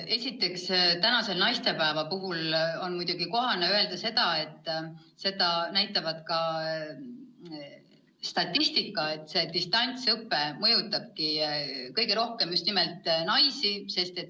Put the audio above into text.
Esiteks, tänase naistepäeva puhul on kohane öelda – ja seda näitab ka statistika –, et distantsõpe mõjutab kõige rohkem just naisi.